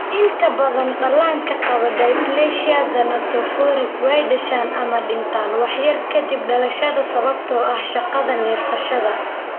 Inta badan dhallaanka qaba dysplasia thanatophoric way dhashaan ama dhintaan wax yar ka dib dhalashada sababtoo ah shaqada neefsashada.